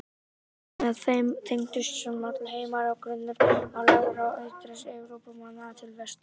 Með þeim tengdust saman tveir heimar og grunnur var lagður að útrás Evrópumanna til vesturs.